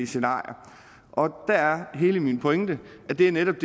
scenarier og der er hele min pointe at det netop